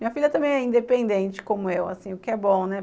Minha filha também é independente, como eu, o que é bom, né?